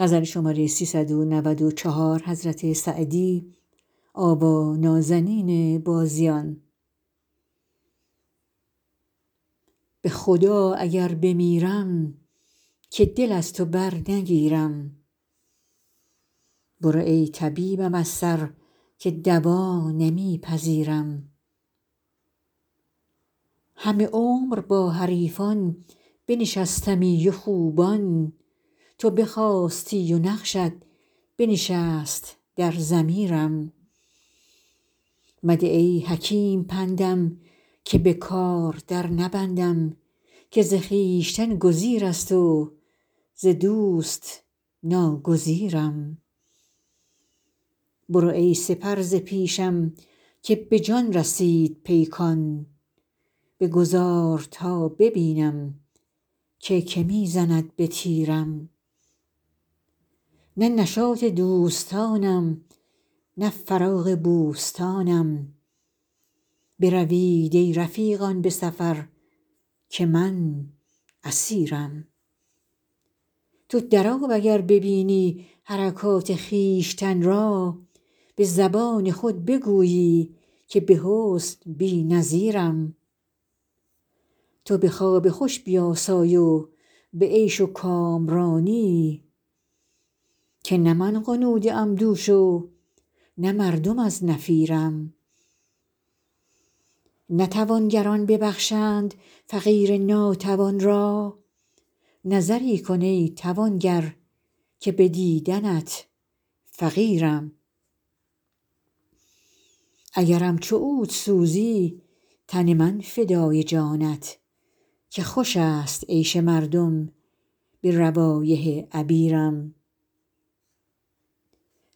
به خدا اگر بمیرم که دل از تو برنگیرم برو ای طبیبم از سر که دوا نمی پذیرم همه عمر با حریفان بنشستمی و خوبان تو بخاستی و نقشت بنشست در ضمیرم مده ای حکیم پندم که به کار در نبندم که ز خویشتن گزیر است و ز دوست ناگزیرم برو ای سپر ز پیشم که به جان رسید پیکان بگذار تا ببینم که که می زند به تیرم نه نشاط دوستانم نه فراغ بوستانم بروید ای رفیقان به سفر که من اسیرم تو در آب اگر ببینی حرکات خویشتن را به زبان خود بگویی که به حسن بی نظیرم تو به خواب خوش بیاسای و به عیش و کامرانی که نه من غنوده ام دوش و نه مردم از نفیرم نه توانگران ببخشند فقیر ناتوان را نظری کن ای توانگر که به دیدنت فقیرم اگرم چو عود سوزی تن من فدای جانت که خوش است عیش مردم به روایح عبیرم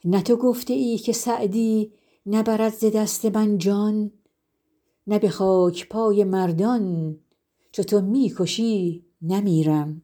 نه تو گفته ای که سعدی نبرد ز دست من جان نه به خاک پای مردان چو تو می کشی نمیرم